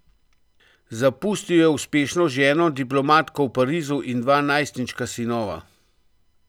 Zapustil je uspešno ženo, diplomatko v Parizu, in dva najstniška sinova.